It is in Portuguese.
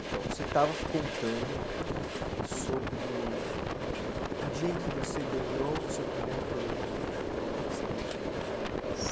Então, você estava contando aham sobre o o dia em que você ganhou o seu primeiro programa de Calouro, assim, com um prêmio, né?